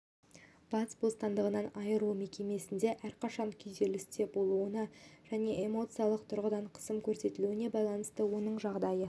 бас бостандығынан айыру мекемесінде әрқашан күйзелісте болуына және эмоциялық тұрғыда қысым көрсетілуіне байланысты оның жағдайы